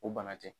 O bana tɛ